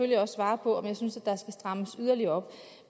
jeg også svare på om jeg synes at der skal strammes yderligere op